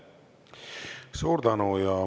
Suur tänu!